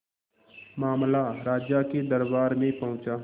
मामला राजा के दरबार में पहुंचा